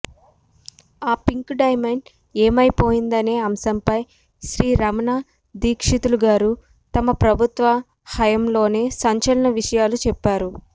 ఆ pink diamond ఏమైపోయినదనే అంశంపై శ్రీ రమణ దీక్షితులు గారు గత ప్రభుత్వ హయాంలోనే సంచలన విషయాలు చెప్పారు